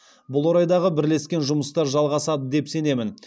бұл орайдағы бірлескен жұмыстар жалғасады деп сенемін